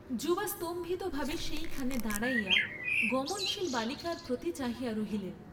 যুবা স্তম্ভিতভাবে সেইখানে দাঁড়াইয়া গমনশীল বালিকার প্রতি চাহিয়া রহিলেন।